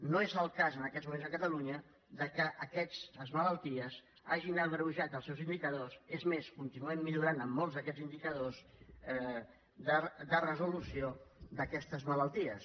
no és el cas en aquests moments a catalunya que aquestes malalties hagin agreujat els seus indicadors és més continuem millorant en molts d’aquests indicadors de resolució d’aquestes malalties